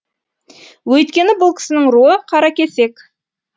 өйткені бұл кісінің руы қаракесек